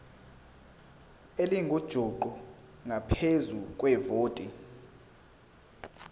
elingujuqu ngaphezu kwevoti